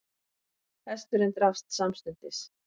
Hesturinn drapst samstundis